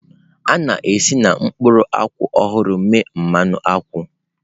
A na-esi na mkpụrụ akwụ ọhụrụ mee mmanụ akwụ